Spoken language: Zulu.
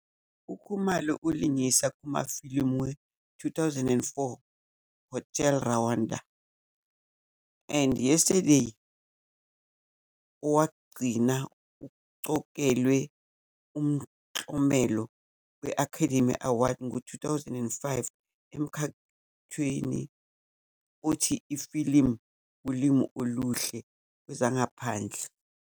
UKhumalo ulingise kumafilimu we-2004 "Hotel Rwanda" and "Yesterday", owokugcina uqokelwe umklomelo we- Academy Award ngo-2005 emkhakheni othi "Ifilimu Olimi Oluhle Kwezangaphandle".